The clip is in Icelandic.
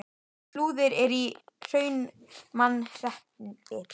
Flúðir er í Hrunamannahreppi.